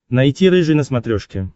найти рыжий на смотрешке